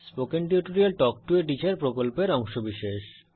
spoken tutorial talk to a teacher প্রকল্পের অংশবিশেষ